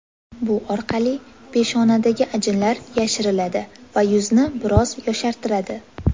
Bu orqali peshonadagi ajinlar yashiriladi va yuzni biroz yoshartiradi.